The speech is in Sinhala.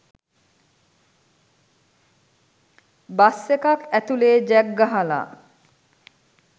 බස් එකක් ඇතුලේ ජැක් ගහලා